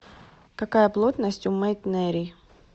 какая плотность у мейтнерий